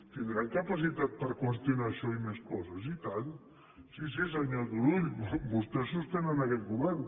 tindran capacitat per qüestionar això i més coses i tant sí sí senyor turull vostès sostenen aquest govern